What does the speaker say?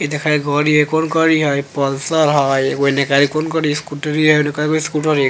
ये देखइ गाड़ी हई कौन गाड़ी हई पल्सर हई एने कौन गाड़ी हई स्कूटर हई एने कयगो स्कूटर --